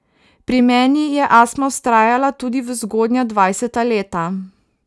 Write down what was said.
Pri meni je astma vztrajala tudi v zgodnja dvajseta leta.